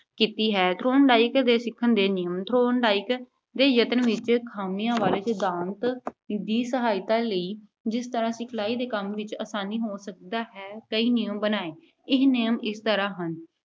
ਕੀਤੀ ਹੈ। Thorndike ਦੇ ਸਿੱਖਣ ਦੇ ਨਿਯਮ Thorndike ਦੇ ਯਤਨ ਵਿੱਚ ਖਾਮੀਆਂ ਵਾਲੇ ਸਿਧਾਂਤ ਦੀ ਸਹਾਇਤਾ ਲਈ, ਜਿਸ ਤਰ੍ਹਾਂ ਸਿਖਲਾਈ ਦੇ ਕੰਮ ਵਿੱਚ ਆਸਾਨੀ ਹੋ ਸਕਦੀ ਹੈ, ਕਈ ਨਿਯਮ ਬਣਾਏ। ਇਹ ਨਿਯਮ ਇਸ ਤਰ੍ਹਾਂ ਹਨ।